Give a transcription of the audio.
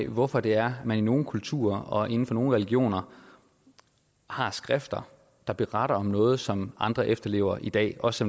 hvorfor det er man i nogle kulturer og inden for nogle religioner har skrifter der beretter om noget som andre efterlever i dag også